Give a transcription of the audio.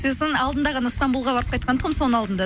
сосын алдында ғана стамбулға барып қайтқан тұғынмын соның алдында